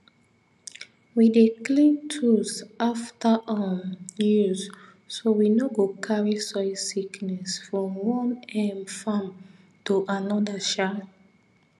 we dey clean tools after um use so we no go carry soil sickness from one um farm to another um